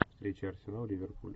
встреча арсенал ливерпуль